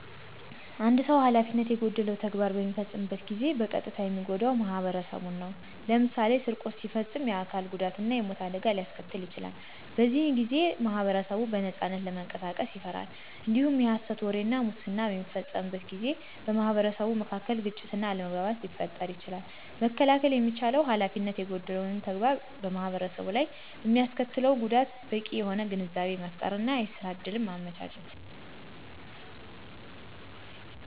አንድ ሰዉ ሀላፊነት የጎደለው ተግባር በሚፈጽምበት ጊዜ በቀጥታ የሚጎዳው ማኅበረሰቡ ነው። ለምሳሌ ስርቆት ሲፈጽም የአካል ጉዳት እና የሞት አደጋ ሊያስከትል ይችላል። በዚህ ጊዜ ማኅበረሰቡ በነጻነት ለመንቀሳቀስ ይፈራል። እንዲሁም የሀሰት ወሬ እና ሙስናን በሚፈጽምበት ጊዜ በማኅበረሰቡ መካከል ግጭት እና አለመግባባትን ሊፈጥር ይችላል። መከላከል የሚቻለው ሀላፊነት የጎደለው ተግባር በማኅበረሰቡ ላይ በሚያስከትለው ጉዳት በቂ የሆነ ግንዛቤ መፍጠር እና የስራ እድል ማመቻቸት።